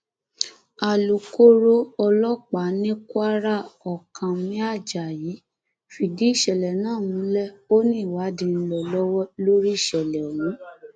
àlùkòrò ọlọpàá ní kwara ọkánmi ajayi fìdí ìṣẹlẹ náà múlẹ ó ní ìwádìí ń lọ lọwọ lórí ìṣẹlẹ ọhún